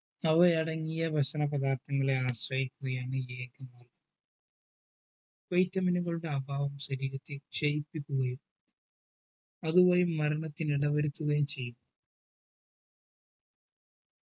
അവയടങ്ങിയ ഭക്ഷണ പദാർത്ഥങ്ങളെ ആശ്രയിക്കുകയാണെങ്കിൽ vitamin നുകളുടെ അഭാവം ശരീരത്തിനെ ശയിപ്പിക്കുകയും അതുപോയി മരണത്തിന് ഇടവരുത്തുകയും ചെയ്യും